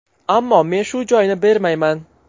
Ammo men shu joyni bermayman.